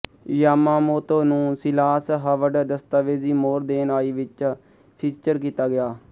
Yamamoto ਨੂੰ Silas Howard ਦਸਤਾਵੇਜ਼ੀ More Than I ਵਿੱਚ ਫ਼ੀਚਰ ਕੀਤਾ ਗਿਆ